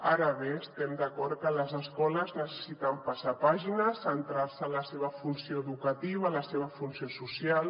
ara bé estem d’acord que les escoles necessiten passar pàgina centrar se en la seva funció educativa la seva funció social